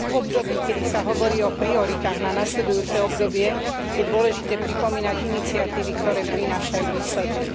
V období, keď sa hovorí o prioritách na nasledujúce obdobie, je dôležité pripomínať iniciatívy, ktoré prinášajú výsledky.